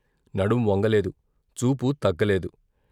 నడుం వంగలేదు, చూపు తగ్గలేదు.